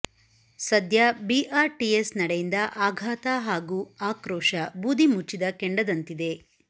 ಸದ್ಯ ಬಿಆರ್ಟಿಎಸ್ ನಡೆಯಿಂದ ಆಘಾತ ಹಾಗೂ ಆಕ್ರೋಶ ಬೂದಿ ಮುಚ್ಚಿದ ಕೆಂಡದಂತಿದೆ